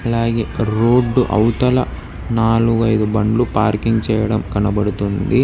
అలాగే రోడ్డు అవతల నాలుగు ఐదు బండ్లు పార్కింగ్ చేయడం కనబడుతుంది.